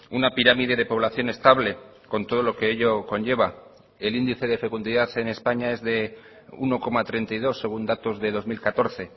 una pirámide de población estable con todo lo que ello conlleva el índice de fecundidad en españa es de uno coma treinta y dos según datos de dos mil catorce